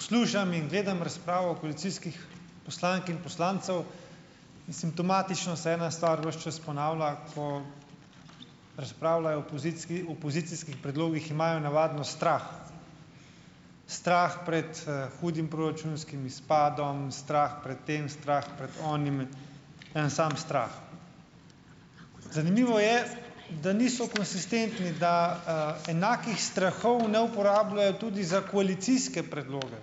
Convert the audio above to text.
Poslušam in gledam razpravo koalicijskih poslank in poslancev in simptomatično se ena stvar ves čas ponavlja, ko razpravljajo. Opozicijskih predlogih imajo navadno strah strah pred, hudim proračunskim izpadom, strah pred tem strah pred onim, en sam strah. Zanimivo je, da niso konsistentni, da, enakih strahov ne uporabljajo tudi za koalicijske predloge.